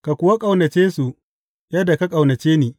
Ka kuwa ƙaunace su yadda ka ƙaunace ni.